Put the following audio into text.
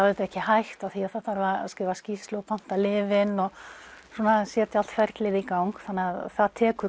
auðvitað ekki hægt af því það þarf að skila skýrslu og panta lyfin og svona setja allt ferlið í gang það tekur